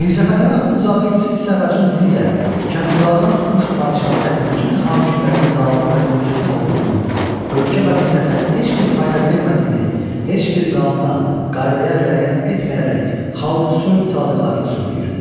Mirzə Fətəli Axundzadə Yusif Sərracın dili ilə kəndxudadan tutmuş padşahadək bütün hakimlərin zalım və yolkəsən olduğunu, ölkə və millətə heç bir fayda vermədiyini, heç bir qanuna, qaydaya riayət etməyərək xalqı soyub taladıqlarını söyləyir.